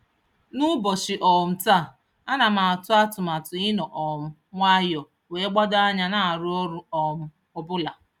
N'ụbọchị um taa, ana m atụ atụmatụ ịnọ um nwayọ wee gbado anya na-arụ ọrụ um ọbụla.